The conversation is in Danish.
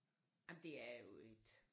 Jamen det er jo et